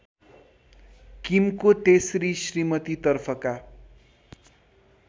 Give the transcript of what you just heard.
किमको तेस्री श्रीमतीतर्फका